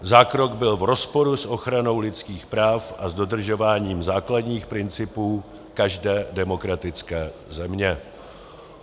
Zákrok byl v rozporu s ochranou lidských práv a s dodržováním základních principů každé demokratické země."